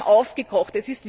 Sie haben aufgekocht.